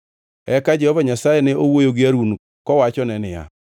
Eka Jehova Nyasaye ne owuoyo gi Harun kowachone niya,